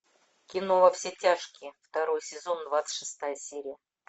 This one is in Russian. кино во все тяжкие второй сезон двадцать шестая серия